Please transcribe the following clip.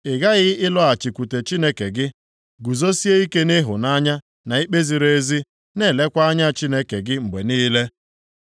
Ịghaghị ịlọghachikwute Chineke gị, guzosie ike nʼịhụnanya na ikpe ziri ezi, na-elekwa anya Chineke gị mgbe niile.